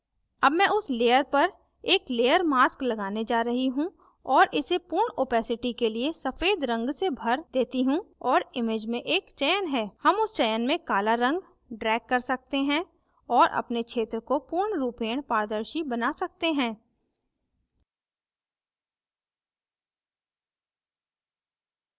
अब मैं उस layer पर एक layer mask लगाने जा रही हूँ और इसे पूर्ण opacity के लिए सफ़ेद रंग से भर देती हूँ और image में एक चयन है हम उस चयन में काला रंग drag कर सकते हैं और अपने क्षेत्र को पूर्णरूपेण पारदर्शी now सकते हैं